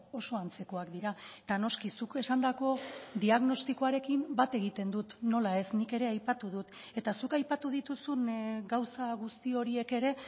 oso antzekoak dira eta noski zuk esandako diagnostikoarekin bat egiten dut nola ez nik ere aipatu dut eta zuk aipatu dituzun gauza guzti horiek ere